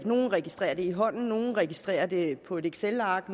nogle registrerer det i hånden nogle registrerer det på et excelark